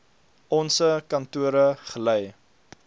onse kantore gelei